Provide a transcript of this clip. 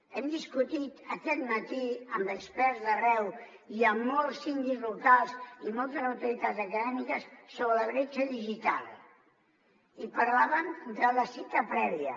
hem discutit aquest matí amb experts d’arreu hi ha molts síndics locals i moltes autoritats acadèmiques sobre la bretxa digital i parlaven de la cita prèvia